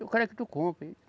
Eu quero é que tu compre.